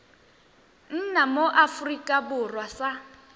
nna mo aforika borwa sa